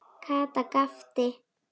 Kata gapti.